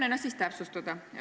Püüan siis täpsustada.